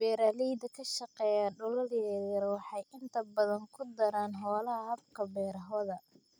Beeralayda ka shaqeeya dhulal yaryar waxay inta badan ku daraan xoolaha habka beerahooda.